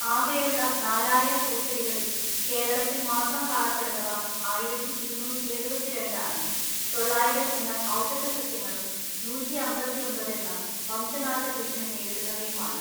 ആകെയുള്ള നാലായിരം പൂച്ചെടികളിൽ കേരളത്തിൽ മാത്രം കാണപ്പെടുന്നവ ആയിരത്തിഇരുനൂറ്റി എഴുപത്തിരണ്ട് ആണ്, തൊള്ളായിരം എണ്ണം ഔഷധസസ്യങ്ങളും നൂറ്റിഅമ്പത്തിഒമ്പത് എണ്ണം വംശനാശഭീഷണി നേരിടുന്നവയുമാണ്.